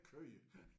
Køer